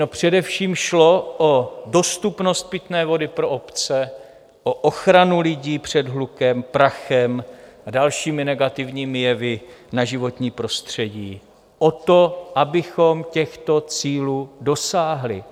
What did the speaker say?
No především šlo o dostupnost pitné vody pro obce, o ochranu lidí před hlukem, prachem a dalšími negativními jevy na životní prostředí, o to, abychom těchto cílů dosáhli.